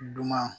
Dunuman